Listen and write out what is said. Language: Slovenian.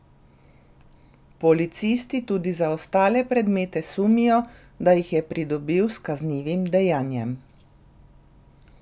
Policisti tudi za ostale predmete sumijo, da jih je pridobil s kaznivim dejanjem.